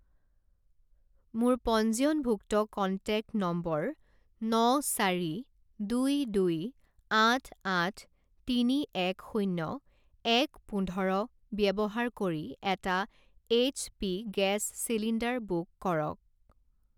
মোৰ পঞ্জীয়নভুক্ত contact number ন চাৰি দুই দুই আঠ আঠ তিনি এক শূণ্য এক পোন্ধৰ ব্যৱহাৰ কৰি এটা এইচপি গেছ চিলিণ্ডাৰ বুক কৰক।